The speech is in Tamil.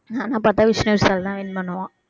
ஆன பாத்தா விஷ்ணுவிஷால் தான் win பண்ணுவான்